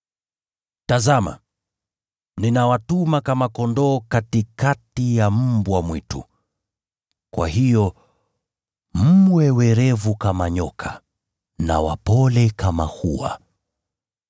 “Tazama, ninawatuma kama kondoo katikati ya mbwa mwitu. Kwa hiyo mwe werevu kama nyoka na wapole kama hua.